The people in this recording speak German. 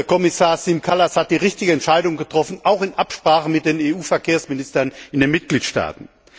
Kommissar Siim Kallas hat die richtige Entscheidung getroffen, auch in Absprache mit den EU Verkehrsministern in den Mitgliedstaaten.